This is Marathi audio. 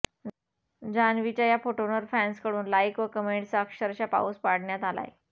जान्हवीच्या या फोटोंवर फॅन्सकडून लाइक व कमेंट्सचा अक्षरशः पाऊस पाडण्यात आलाय